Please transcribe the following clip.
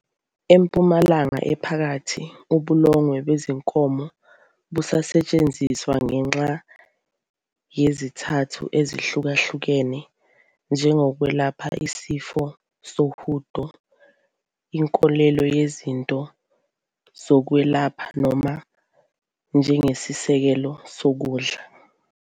EMpumalanga Ephakathi, ubulongwe bezinkomo busetshenziswa ngenxa yezizathu ezihlukahlukene, njengokwelapha isifo sohudo, inkolelo yezinto zokwelapha noma njengesisekelo sokudla.